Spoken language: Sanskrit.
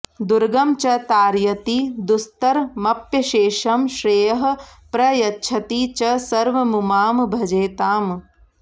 दुर्गं च तारयति दुस्तरमप्यशेषं श्रेयः प्रयच्छति च सर्वमुमां भजेताम्